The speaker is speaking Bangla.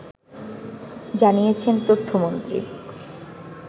জানিয়েছেন তথ্যমন্ত্রী